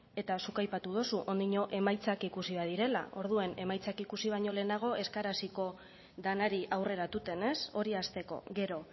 eta zuk aipatu dozu ondiño emaitzak ikusi behar direla orduen emaitzak ikusi baino lehenago ez gara hasiko lanari aurreratuten ez hori hasteko gero